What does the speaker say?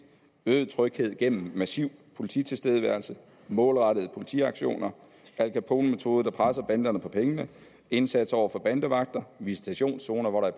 øget tryghed gennem massiv polititilstedeværelse målrettede politiaktioner al capone metoder der presser banderne på pengene indsats over for bandevagter visitationszoner hvor der